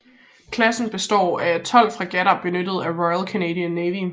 Klassen består af tolv fregatter benyttet af Royal Canadian Navy